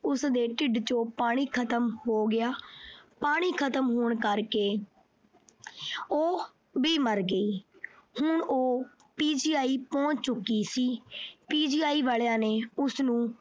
ਉਸਦੇ ਢਿੱਡ ਚੋਂ ਪਾਣੀ ਖਤਮ ਹੋ ਗਿਆ। ਪਾਣੀ ਖਤਮ ਹੋਣ ਕਰਕੇ ਉਹ ਵੀ ਮਰ ਗਈ। ਹੁਣ ਉਹ PGI ਪਹੁੰਚ ਚੁੱਕੀ ਸੀ। PGI ਵਾਲਿਆਂ ਨੇ ਉਸਨੂੰ ਅਹ ਉਸਦੇ